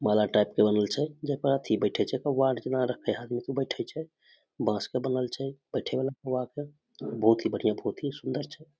माला टाइप के बनल छै जेई पर अथी बैठे छै बैठे छै बांस के बनल छै बैठे वला बहुत ही बढ़िया बहुत ही सुंदर छै।